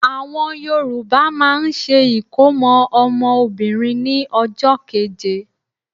Àwọn Yorùbá máà ń ṣe ìkómọ́ ọmọ Obìnrin ní ọjọ́ keje.